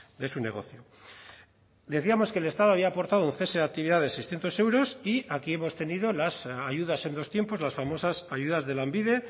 de su negocio decíamos que el estado había aportado un cese de actividad de seiscientos euros y aquí hemos tenido las ayudas en los tiempos las famosas ayudas de lanbide